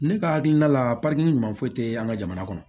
Ne ka hakilina la ɲuman foyi te an ka jamana kɔnɔ